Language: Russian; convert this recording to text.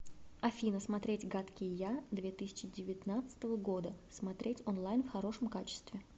афина смотреть гадкий я две тысячи девятнадцатого года смотреть онлайн в хорошем качестве